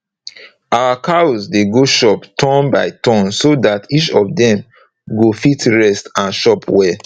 our cows dey go chop turn by turn so dat each of dem go fit rest and chop well